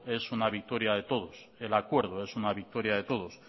es una victoria de todos el acuerdo es una victoria de todos